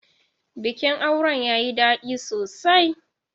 Bikin auren yayi daɗi sosai.